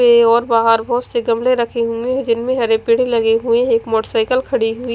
और बाहर बहोत से गमले रखें हुए हैं जिनमें हरे पेड़ लगे हुए है एक मोटरसाइकिल खड़ी हुई--